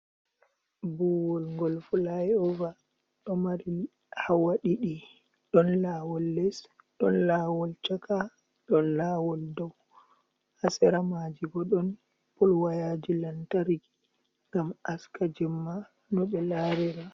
Buwol gol fulai uva do mari hawa didi don lawol les, don lawol chaka, don lawol dow ha seramaji bo don pol wayaji lantargi gam haska jemma no be larira.